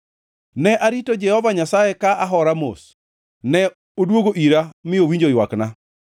Ne arito Jehova Nyasaye ka ahora mos; ne odwogo ira mi owinjo ywakna.